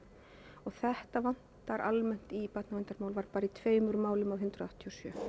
og þetta vantar almennt í barnaverndarmál var bara í tveimur málum af hundrað áttatíu og sjö